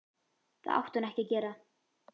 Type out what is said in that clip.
Það átti hún ekki að gera.